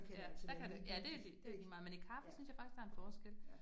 Ja, der kan det, ja, det det lige meget, men i kaffe synes jeg faktisk, der en forskel